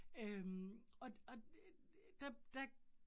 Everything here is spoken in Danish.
Øh og og der der